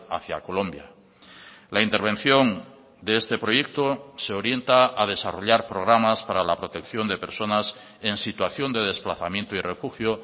hacia colombia la intervención de este proyecto se orienta a desarrollar programas para la protección de personas en situación de desplazamiento y refugio